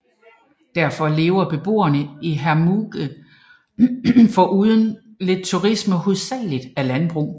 Derfor lever beboerne i Hermigua foruden lidt turisme hovedsageligt af landbrug